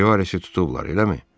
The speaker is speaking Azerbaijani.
Rivaresi tutublar, eləmi?